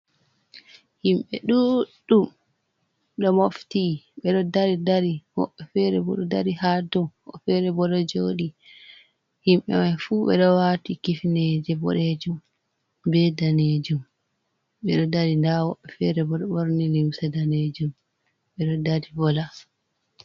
Himɓe ɗuɗɗum ɗo mofti bedo dari dari woɓɓe fere ɓo do dari ha tou fere bo do joɗi himɓe mai fu ɓe ɗo wati kifneje bodejum be danejum ɓe ɗo dari da woɓɓe fere ɓo ɗo ɓorni limse danejum ɓe do dari vola.